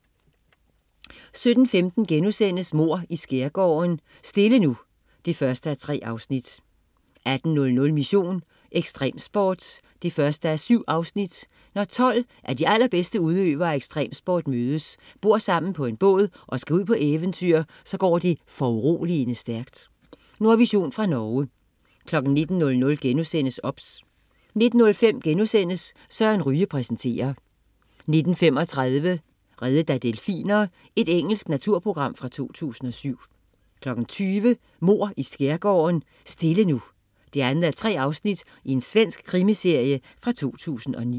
17.15 Mord i Skærgården: Stille nu 1:3* 18.00 Mission: Ekstremsport 1:7. Når 12 af de allerbedste udøvere af ekstremsport mødes, bor sammen på en båd og skal ud på eventyr, så går alt foruroligende stærkt. Nordvision fra Norge 19.00 OBS* 19.05 Søren Ryge præsenterer* 19.35 Reddet af delfiner. Engelsk naturprogram fra 2007 20.00 Mord i Skærgården: Stille nu 2:3. Svensk krimiserie fra 2009